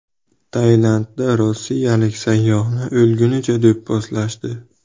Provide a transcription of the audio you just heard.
Tailandda rossiyalik sayyohni o‘lgunicha do‘pposlashdi.